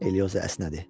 Elioza əsnədi.